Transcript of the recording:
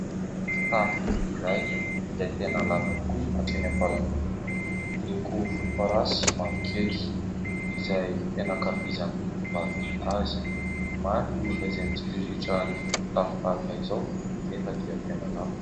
Fitafy iray izay tena lava tokoa, hatreny am-paladia, miloko volomparasy sy mavokely izay tena ankafizan'ny tovovavy azy. Maro ireo olona izay mitsiriritra fitafy tahaka izao nefa dia tena lafo.